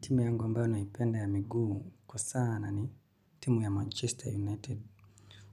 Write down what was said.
Timu yangu ambayo naipenda ya miguu kwa sana ni timu ya Manchester United